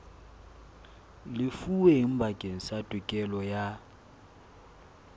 lefuweng bakeng sa tokelo ya